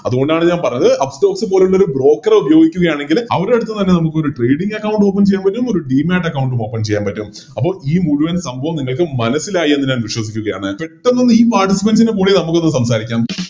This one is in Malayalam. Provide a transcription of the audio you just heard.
അതുകൊണ്ടാണ് ഞാൻ പറഞ്ഞത് Upstox പോലുള്ളൊരു Broker എ ഉപയോഗിക്കുകയാണെങ്കിൽ അവരെടുത്തുന്ന് തന്നെ നമുക്കൊരു Trading account open ചെയ്യാൻ പറ്റും ഒരു Demat account ഉം Open ചെയ്യാൻ പറ്റും അപ്പോൾ ഈ മുഴുവൻ സംഭവവും നിങ്ങൾക്ക് മനസ്സിലായി എന്ന് ഞാൻ വിശ്വസിക്കുകയാണ് പെട്ടന്നൊന്ന് ഈ Participants ന് പോയി നമുക്കൊന്ന് സംസാരിക്കാം